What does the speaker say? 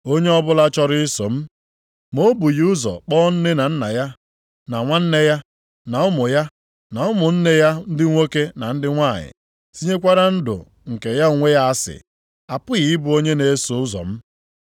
“Onye ọbụla chọrọ iso m, ma o bụghị ụzọ kpọ nne na nna ya, na nwunye ya, na ụmụ ya, na ụmụnne ya ndị nwoke na ndị nwanyị tinyekwara ndụ nke ya onwe ya asị, apụghị ịbụ onye na-eso ụzọ m.